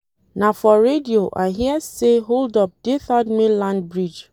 Na for radio I hear sey hold-up dey third mainland bridge.